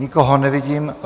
Nikoho nevidím.